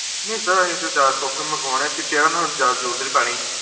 ਨੀ ਸਰ, ਸੋਫੇ ਮੰਗਵਾਣੇ chair ਦੀ ਤਾ ਜਾਦਾ ਜਰੂਰਤ ਨੀ ਪੈਣੀ